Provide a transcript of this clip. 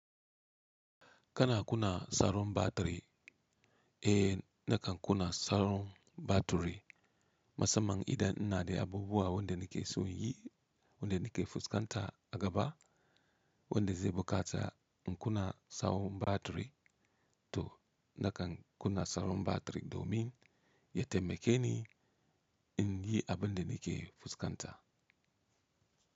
Kana kuna saron batiri, eh nakan kuna saron batiri. Masamman idan ina da abubuwa wanda nake so yi, wanda nake fuskanta a gaba wanda zai buƙaci in kuna saron batiri to nakan kuna saron batiri domin ya taimake ni in yi abin da nake fuskanta.